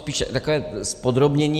Spíše takové zpodrobnění.